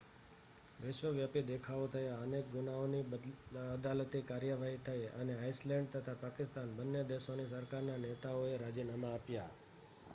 વિશ્વવ્યાપી દેખાવો થયા અનેક ગુનાઓની અદાલતી કાર્યવાહી થઈ અને આઇસલૅન્ડ તથા પાકિસ્તાન બન્ને દેશોની સરકારના નેતાઓએ રાજીનામાં આપ્યાં